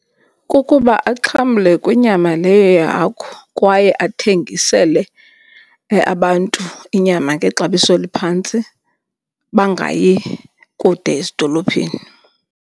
Kukuba axhamle kwinyama leyo yehagu kwaye athengisele abantu inyama ngexabiso eliphantsi bangayi kude ezidolophini.